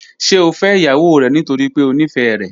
Ṣe o fẹ iyawo rẹ nitori pe o nifẹ rẹ?